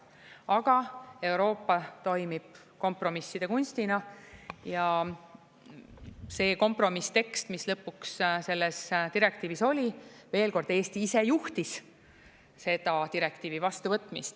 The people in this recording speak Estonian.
Aga Euroopa toimib kompromisside kunstina ja see kompromisstekst, mis lõpuks selles direktiivis oli, veel kord: Eesti ise juhtis seda direktiivi vastuvõtmist.